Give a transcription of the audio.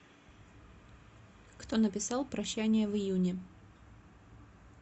кто написал прощание в июне